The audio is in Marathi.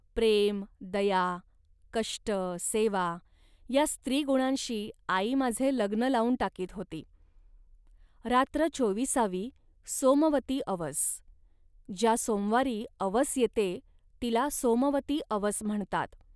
प्रेम, दया, कष्ट, सेवा या स्त्रीगुणांशी आई माझे लग्न लावून टाकीत होती. रात्र चोविसावी सोमवती अवस..ज्या सोमवारी अवस येते, तिला सोमवती अवस म्हणतात